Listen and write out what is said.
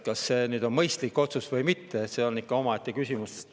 Kas see on mõistlik otsus või mitte, see on omaette küsimus.